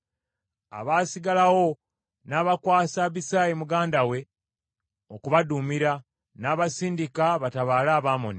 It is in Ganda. Abaasigalawo n’abakwasa Abisaayi muganda we okubaduumira, n’abasindika batabaale Abamoni.